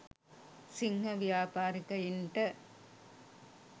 සිංහ ව්‍යාපාරිකයන්ට